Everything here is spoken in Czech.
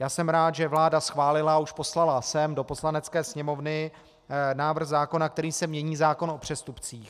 Já jsem rád, že vláda schválila a už poslala sem do Poslanecké sněmovny návrh zákona, kterým se mění zákon o přestupcích.